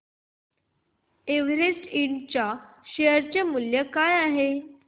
Everest इंड च्या share चे मूल्य काय आहे